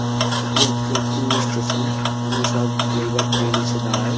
এইটি হচ্ছে একটি স্টেশন । এইখানে সব জায়গার ট্রেন এসে দাঁড়ায়।